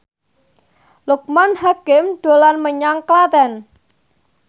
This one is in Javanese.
Loekman Hakim dolan menyang Klaten